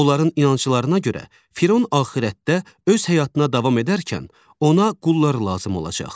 Onların inanclarına görə Firon axirətdə öz həyatına davam edərkən ona qullar lazım olacaq.